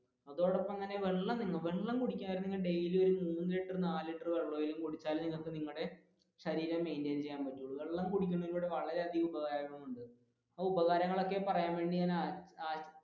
അതോടൊപ്പം തന്നെ daily ഒരു നാല് ലിറ്റർ മൂന്ന് ലിറ്റർ വെള്ളമെങ്കിലും കൂടിച്ചാലേ നിങ്ങൾക്ക് നിങ്ങളുടെ ശരീരം maintain ചെയ്യാൻ പറ്റുള്ളൂ വെള്ളം കുടിക്കുന്നതിൽ വളരെയധികം ഉപകാരങ്ങൾ ഒക്കെയുണ്ട് അതിന്റെ ഉപകാരങ്ങൾ ഒക്കെ പറയുവാൻ വേണ്ടി ഞാൻ